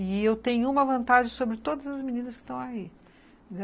E eu tenho uma vantagem sobre todas as meninas que estão aí.